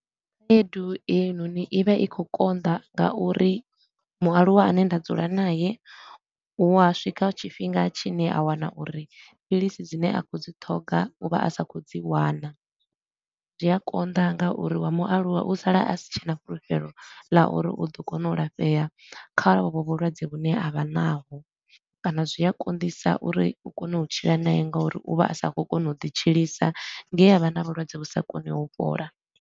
Khaedu heinoni i vha i khou konḓa nga uri mualuwa a ne nda dzula naye hu a swika tshifhinga tshine a wana uri philisi dzine a khou dzi ṱhoga u vha a sa khou dzi wana. Zwi a konḓa nga uri wa mualuwa u sala a si tshena fhulufhelo ḽa uri u ḓo kona u lafhea kha vhonovho vhulwadze vhune a vha naho kana zwi a konḓisa uri u kone u tshila naye nga uri u vha a sa khou kona u ḓi tshilisa nge a vha na vhulwadze vhu sa koni u fhola.